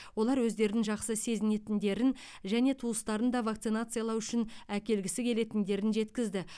олар өздерін жақсы сезінетіндерін және туыстарын да вакцинациялау үшін әкелгісі келетіндерін жеткізді